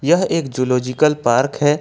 यह एक zoological park है।